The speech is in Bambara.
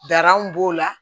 Daran b'o la